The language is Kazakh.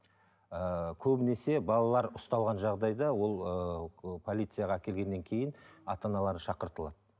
ыыы көбінесе балалар ұсталған жағдайда ол ыыы полицияға әкелгеннен кейін ата аналары шақыртылады